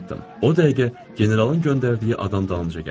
O dəqiqə generalın göndərdiyi adam dalınca gəldi.